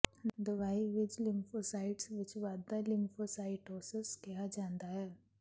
ਦਵਾਈ ਵਿੱਚ ਲਿਮਫੋਸਾਈਟਸ ਵਿੱਚ ਵਾਧਾ ਲੀਮਫੋਸਾਈਟੋਸਸ ਕਿਹਾ ਜਾਂਦਾ ਹੈ